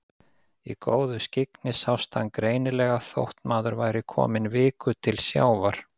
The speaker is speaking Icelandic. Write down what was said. Í góðu skyggni sást hann greinilega þótt maður væri kominn viku til sjávar.